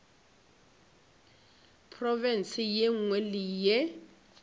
profense ye nngwe le ye